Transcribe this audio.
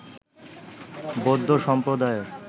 বৌদ্ধ সম্প্রদায়ের